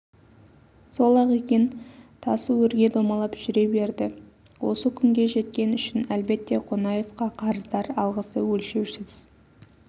сол-ақ екен тасы өрге домалап жүре берді осы күнге жеткен үшін әлбетте қонаевқа қарыздар алғысы өлшеусіз